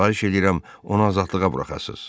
Xahiş eləyirəm, onu azadlığa buraxasız.